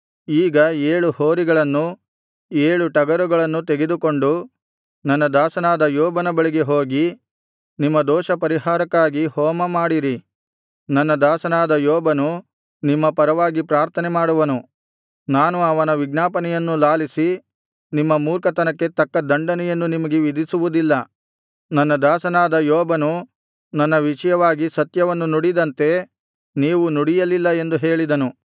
ಈಗ ಏಳು ಹೋರಿಗಳನ್ನೂ ಏಳು ಟಗರುಗಳನ್ನೂ ತೆಗೆದುಕೊಂಡು ನನ್ನ ದಾಸನಾದ ಯೋಬನ ಬಳಿಗೆ ಹೋಗಿ ನಿಮ್ಮ ದೋಷಪರಿಹಾರಕ್ಕಾಗಿ ಹೋಮಮಾಡಿರಿ ನನ್ನ ದಾಸನಾದ ಯೋಬನು ನಿಮ್ಮ ಪರವಾಗಿ ಪ್ರಾರ್ಥನೆ ಮಾಡುವನು ನಾನು ಅವನ ವಿಜ್ಞಾಪನೆಯನ್ನು ಲಾಲಿಸಿ ನಿಮ್ಮ ಮೂರ್ಖತನಕ್ಕೆ ತಕ್ಕ ದಂಡನೆಯನ್ನು ನಿಮಗೆ ವಿಧಿಸುವುದಿಲ್ಲ ನನ್ನ ದಾಸನಾದ ಯೋಬನು ನನ್ನ ವಿಷಯವಾಗಿ ಸತ್ಯವನ್ನು ನುಡಿದಂತೆ ನೀವು ನುಡಿಯಲಿಲ್ಲ ಎಂದು ಹೇಳಿದನು